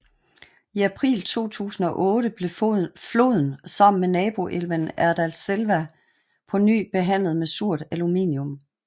I april 2008 blev floden sammen med naboelven Erdalselva på ny behandlet med surt aluminium